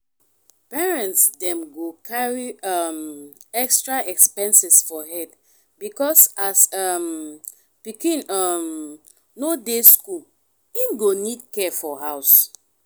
parents dem go carry um extra expenses for head because as um pikin um no dey school im go need care for house